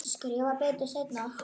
Skrifa betur seinna.